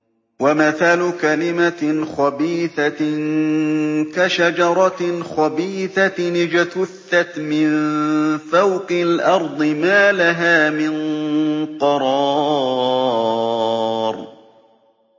وَمَثَلُ كَلِمَةٍ خَبِيثَةٍ كَشَجَرَةٍ خَبِيثَةٍ اجْتُثَّتْ مِن فَوْقِ الْأَرْضِ مَا لَهَا مِن قَرَارٍ